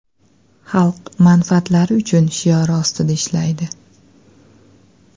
Xalq manfaatlari uchun” shiori ostida ishlaydi.